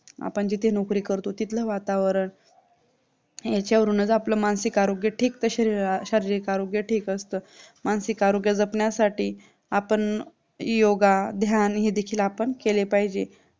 आपण जिथे नोकरी करतो तिथल्या वातावरण याच्यावरूनच आपल्या मानसिक आरोग्य ठीक तशे शरीरिक आरोग्य ठीक असतं मानसिक आरोग्य जपण्यासाठी आपण योगा, ध्यान ही देखील आपण केले पाहिजे